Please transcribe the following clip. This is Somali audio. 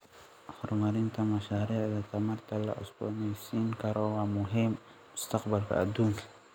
Horumarinta mashaariicda tamarta la cusbooneysiin karo waa muhiim mustaqbalka adduunka.